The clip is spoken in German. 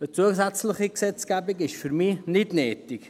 Eine zusätzliche Gesetzgebung ist für mich nicht nötig.